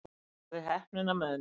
Hafði heppnina með mér